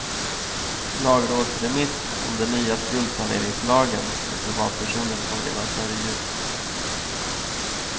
Lagrådsremiss om den nya skuldsaneringslagen för privatpersoner kom redan före jul.